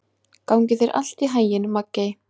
Gangi þér allt í haginn, Maggey.